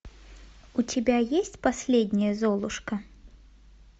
у тебя есть последняя золушка